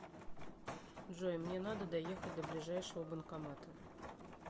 джой мне надо доехать до ближайшего банкомата